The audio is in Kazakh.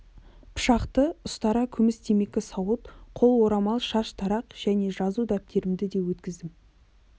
пышақты ұстара күміс темекі сауыт қол орамал шаш тарақ және жазу дәптерімді де өткіздім